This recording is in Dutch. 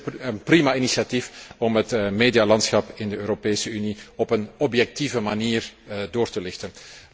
Het is een prima initiatief om het medialandschap in de Europese Unie op een objectieve manier door te lichten.